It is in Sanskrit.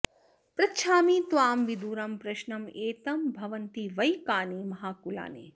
पृच्छामि त्वां विदुरं प्रश्नमेतं भवन्ति वै कानि महाकुलानि